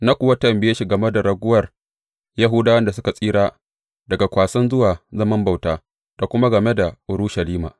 Na kuwa tambaye shi game da raguwar Yahudawan da suka tsira daga kwasan zuwa zaman bauta, da kuma game da Urushalima.